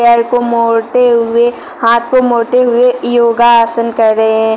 पैर को मोड़ते हुए हाथ को मोड़ते हुए योगासन कर रहे हैं।